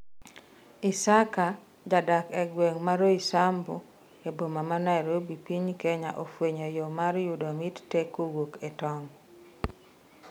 Isaka ,jadak e gweng' ma Roysambu e boma ma Nairobi ,piny Kenya ofwenyo yoo mar yudo mit tee kowuok e tong'